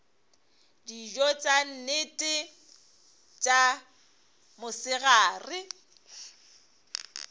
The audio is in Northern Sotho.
dijo tša nnete tša mosegare